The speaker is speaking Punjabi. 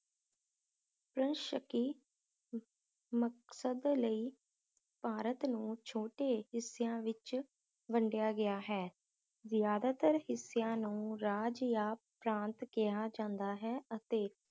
ਪ੍ਰੰਸ਼ਕੀ ਮ~ ਮਕਸਦ ਲਈ ਭਾਰਤ ਨੂੰ ਛੋਟੇ ਹਿੱਸਿਆਂ ਵਿਚ ਵੰਡੀਆ ਗਿਆ ਹੈ ਜ਼ਿਆਦਾਤਰ ਹਿੱਸਿਆਂ ਨੂੰ ਰਾਜ ਯਾਂ ਪ੍ਰਾਂਤ ਕਿਹਾ ਜਾਂਦਾ ਹੈ ਅਤੇ